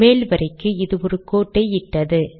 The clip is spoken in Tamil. மேல் வரிக்கு அது ஒரு கோட்டை இட்டது